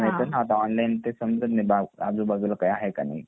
online ते समजत नाही आजूबाजूला काही आहे की नाही